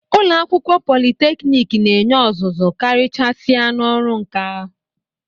Ụlọ akwụkwọ politeknik na-enye ọzụzụ karịchasịa n'ọrụ nka.